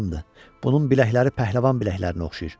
Bunun biləkləri pəhləvan biləklərinə oxşayır.